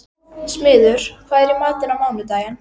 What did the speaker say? Smiður, hvað er í matinn á mánudaginn?